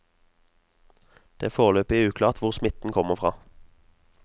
Det er foreløpig uklart hvor smitten kommer fra.